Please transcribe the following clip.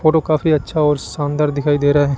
photo काफी अच्छा और शानदार दिखाई दे रहा--